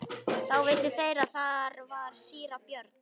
Þá vissu þeir að þar var síra Björn.